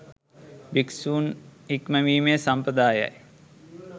භික්‍ෂූන් හික්මවීමේ සම්ප්‍රදායයි.